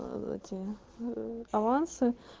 аа эти аа авансы